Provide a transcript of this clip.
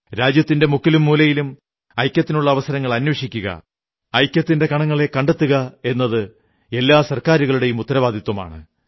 രാജ്യത്തിന്റെ മുക്കിലും മൂലയിലും ഐക്യത്തിനുള്ള അവസരങ്ങൾ അന്വേഷിക്കുക ഐക്യത്തിന്റെ കണങ്ങളെ കണ്ടെത്തുക എന്നത് എല്ലാ സർക്കാരുകളുടെയും ഉത്തരവാദിത്വമാണ്